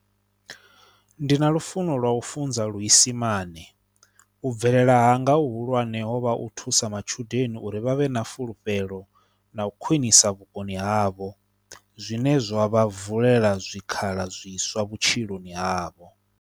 Ndi na lufuno lwa u funza luisimane, u bvelela hanga hu hulwane ho vha u thusa matshudeni uri vha vhe na fulufhelo na u khwinisa vhukoni havho zwine zwa vha vulela zwikhala zwiswa vhutshiloni havho.